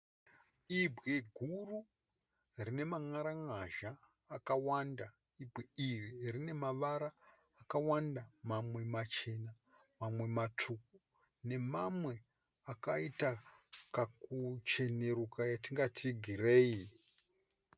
Ibwe guru rine man'aran'azha akawanda. Ibwe iri rine mavara akawanda mamwe machena mamwe matsvuku nemamwe akaita kakucheneruka yatingati gireyi.